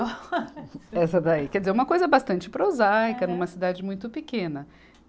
Essa daí. Quer dizer, uma coisa bastante prosaica, numa cidade muito pequena.